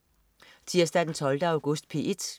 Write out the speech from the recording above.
Tirsdag den 12. august - P1: